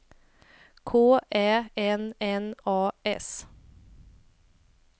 K Ä N N A S